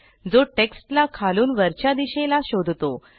जो टेक्स्टला खालून वरच्या दिशेला शोधतो